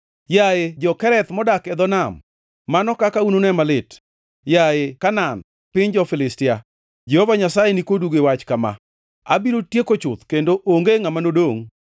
Yaye jo-Kereth modak e dho nam, mano kaka unune malit, yaye Kanaan, piny jo-Filistia, Jehova Nyasaye nikodu gi wach kama: “Abiro tieko chuth kendo onge ngʼama nodongʼ.”